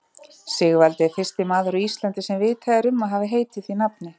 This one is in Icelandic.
Sigvaldi er fyrsti maður á Íslandi sem vitað er um að hafi heitið því nafni.